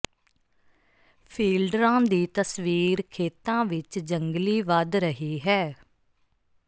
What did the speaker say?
ਫੀਲਡਰਾਂ ਦੀ ਤਸਵੀਰ ਖੇਤਾਂ ਵਿਚ ਜੰਗਲੀ ਵਧ ਰਹੀ ਹੈ